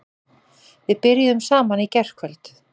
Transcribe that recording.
Við byrjuðum saman í gærkvöld.